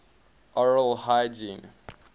oral hygiene